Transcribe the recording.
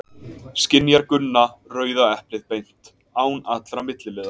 Skynjar Gunna rauða eplið beint, án allra milliliða?